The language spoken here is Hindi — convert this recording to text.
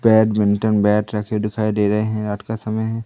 बैडमिंटम बैट रखे दिखाई दे रहे है। रात का समय है।